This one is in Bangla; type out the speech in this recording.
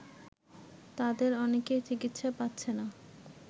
তাদের অনেকে চিকিৎসা পাচ্ছে না